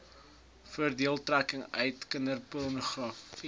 voordeeltrekking uit kinderpornogra